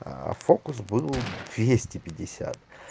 фокус был двести пятьдесят